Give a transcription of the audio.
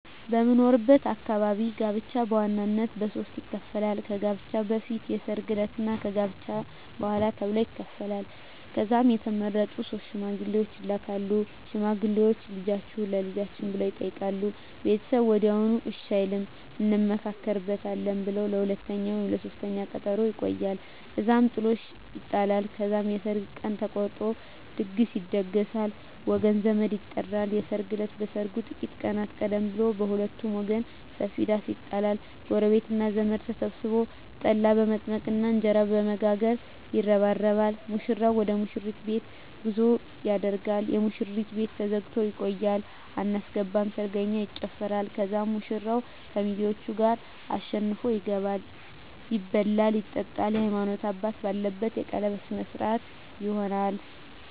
በምኖርበት አካባቢ ጋብቻ በዋናነት በሦስት ይከፈላል። ከጋብቻ በፊት፣ የሰርግ ዕለት እና ከጋብቻ በኋላ ተብሎ ይከፈላል። ከዛም የተመረጡ ሶስት ሽማግሌዎች ይላካሉ። ሽማግሌዎቹ "ልጃችሁን ለልጃችን" ብለው ይጠይቃሉ። ቤተሰብ ወዲያውኑ እሺ አይልም፤ "እንመካከርበት" ብለው ለሁለተኛ ወይም ለሦስተኛ ቀጠሮ ያቆያሉ። እዛም ጥሎሽ ይጣላል። ከዛም የሰርግ ቀን ተቆርጦ ድግስ ይደገሳል፣ ወገን ዘመድ ይጠራል። የሰርግ እለት ከሰርጉ ጥቂት ቀናት ቀደም ብሎ በሁለቱም ወገን ሰፊ ዳስ ይጣላል። ጎረቤትና ዘመድ ተሰብስቦ ጠላ በመጥመቅና እንጀራ በመጋገር ይረባረባል። ሙሽራው ወደ ሙሽሪት ቤት ጉዞ ያደርጋል። የሙሽሪት ቤት ተዘግቶ ይቆያል። አናስገባም ሰርገኛ ይጨፋራል። ከዛም ሙሽራው ከሚዜዎቹ ጋር አሸንፎ ይገባል። ይበላል ይጠጣል፣ የሀይማኖት አባት ባለበት የቀለበት ስነ ስሮአት ይሆናል